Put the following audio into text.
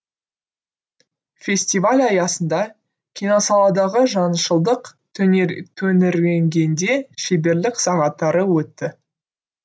фестиваль аясында киносаладағы жаңышылдық төңіргенгенде шеберлік сағаттары өтті